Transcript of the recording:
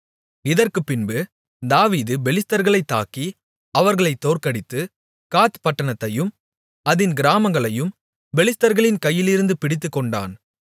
இதற்குப்பின்பு தாவீது பெலிஸ்தர்களைத் தாக்கி அவர்களைத் தோற்கடித்து காத் பட்டணத்தையும் அதின் கிராமங்களையும் பெலிஸ்தர்களின் கையிலிருந்து பிடித்துக்கொண்டான்